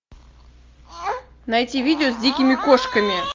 найти видео с дикими кошками